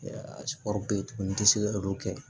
bɛ yen tuguni n tɛ se ka olu kɛ